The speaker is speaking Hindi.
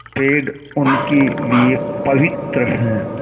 पेड़ उनके लिए पवित्र हैं